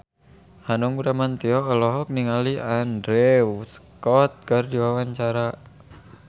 Hanung Bramantyo olohok ningali Andrew Scott keur diwawancara